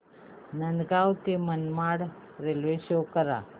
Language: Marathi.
नांदगाव ते मनमाड रेल्वे शो करा